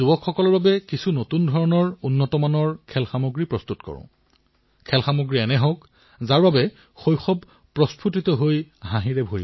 মোৰ মৰমৰ দেশবাসীসকল ভাৰতীয়সকলৰ উদ্ভাৱন আৰু সমাধান দিব পৰা ক্ষমতাক সকলোৱে স্বীকাৰ কৰিছে আৰু যেতিয়া সমৰ্পণৰ ভাৱ সংবেদনাৰ ভাৱ প্ৰকট হয় তেতিয়া এই শক্তি অসীম হৈ পৰে